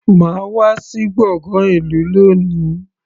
Má wà sí gbọ̀ngán ìlú lóni.